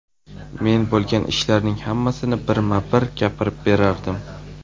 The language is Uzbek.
Men bo‘lgan ishlarning hammasini birma-bir gapirib berardim.